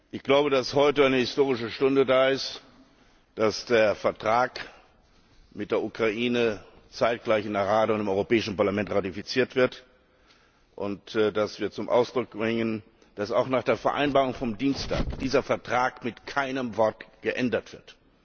Ich glaube, dass heute eine historische Stunde da ist, dass der Vertrag mit der Ukraine zeitgleich in der Rada und im Europäischen Parlament ratifiziert wird und dass wir zum Ausdruck bringen, dass auch nach der Vereinbarung vom Dienstag dieser Vertrag mit keinem Wort geändert wird.